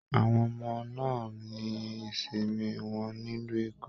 Àwọn ọmọ náà ní ìsinmi wọn nílu Eko